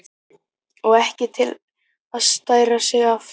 Og ekki til að stæra sig af!